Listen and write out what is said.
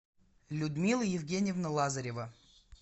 людмила евгеньевна лазарева